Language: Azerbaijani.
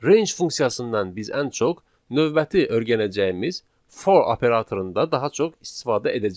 Range funksiyasından biz ən çox növbəti öyrənəcəyimiz for operatorunda daha çox istifadə edəcəyik.